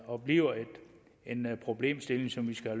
og bliver en problemstilling som vi skal